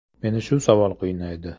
Meni shu savol qiynaydi.